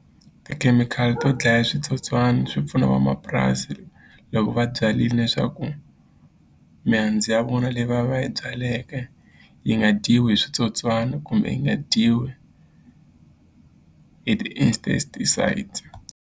Tikhemikhali to dlaya switsotswani swi pfuna vamapurasi loko va byarini leswaku mihandzu ya vona leyi va va yi byaleke yi nga dyiwi hi switsotswana kumbe yi nga dyiwi hi ti .